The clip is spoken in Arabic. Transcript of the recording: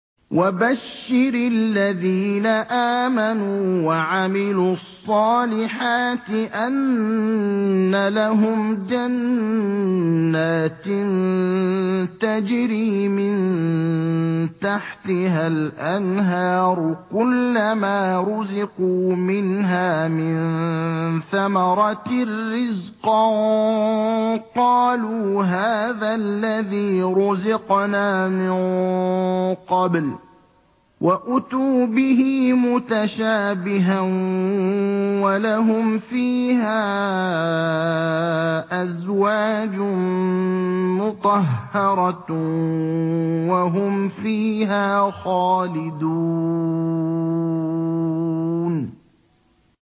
وَبَشِّرِ الَّذِينَ آمَنُوا وَعَمِلُوا الصَّالِحَاتِ أَنَّ لَهُمْ جَنَّاتٍ تَجْرِي مِن تَحْتِهَا الْأَنْهَارُ ۖ كُلَّمَا رُزِقُوا مِنْهَا مِن ثَمَرَةٍ رِّزْقًا ۙ قَالُوا هَٰذَا الَّذِي رُزِقْنَا مِن قَبْلُ ۖ وَأُتُوا بِهِ مُتَشَابِهًا ۖ وَلَهُمْ فِيهَا أَزْوَاجٌ مُّطَهَّرَةٌ ۖ وَهُمْ فِيهَا خَالِدُونَ